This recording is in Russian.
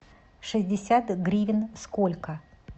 шестьдесят гривен сколько